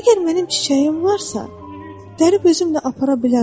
Əgər mənim çiçəyim varsa, dərib özümlə apara bilərəm.